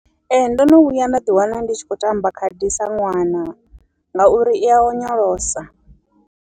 Ee ndono vhuya nda ḓi wana ndi tshi khou tamba khadi sa ṅwana, ngauri iya onyolosa.